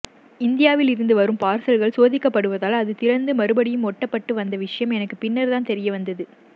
இந்தியாவில் இருந்து வரும் பார்சல்கள் சோதிக்கப்படுவதால் அது திறந்து மறுபடியும் ஒட்டப்பட்டு வந்த விசயம் எனக்கு பின்னர்தான் தெரியவந்தது